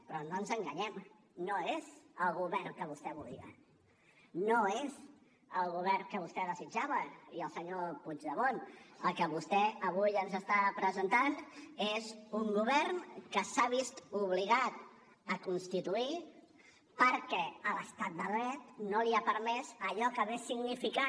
però no ens enganyem no és el govern que vostè volia no és el govern que vostè desitjava i el senyor puigdemont el que vostè avui ens està presentant és un govern que s’ha vist obligat a constituir perquè l’estat de dret no li ha permès allò que hagués significat